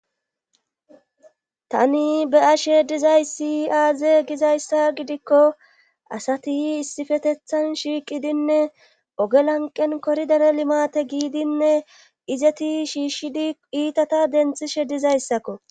Tani be ashe dizayssi aaze gizayssa gidikko asati issifetethan shiiqidinne ogelanqen koridare limate giidinne izeti shiishshidi iitata denthishe dizayssakko